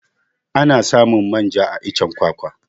Ana samun manja a iccen kwakwa